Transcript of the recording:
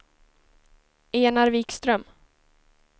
Enar Wikström